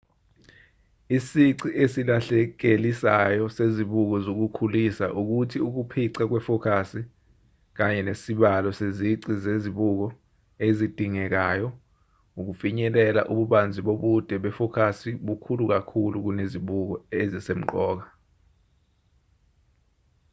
isici esilahlekelisayo sezibuko zokukhulisa ukuthi ukuphica kwefokasi kanye nesibalo sezici zezibuko ezidingekayo ukufinyelela ububanzi bobude befokasi bukhulu kakhulu kunezibuko ezisemqoka